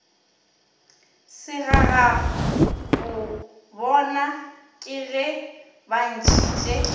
segagabobona ka ge ba ntšhitše